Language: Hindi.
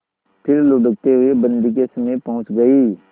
फिर लुढ़कते हुए बन्दी के समीप पहुंच गई